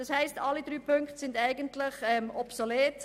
Das heisst, alle drei Ziffern sind eigentlich obsolet.